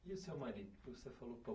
E o seu marido? Porque você falou